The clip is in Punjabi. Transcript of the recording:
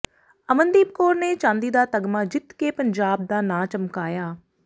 ਅਮਨਦੀਪ ਕੌਰ ਨੇ ਚਾਂਦੀ ਦਾ ਤਗਮਾ ਜਿੱਤ ਕੇ ਪੰਜਾਬ ਦਾ ਨਾਂਅ ਚਮਕਾਇਆ